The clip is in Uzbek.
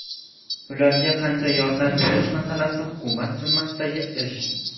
Ularga qancha yordam berish masalasi hukumat zimmasidagi ish.